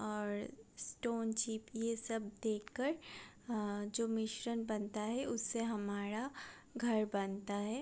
ओर stone सब देख कर आ जो मिश्रण बनता है उससे हमारा घर बनता है |